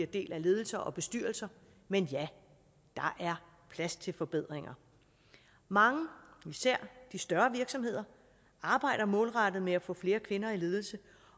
del af ledelser og bestyrelser men ja der er plads til forbedringer mange især de større virksomheder arbejder målrettet med at få flere kvinder i ledelse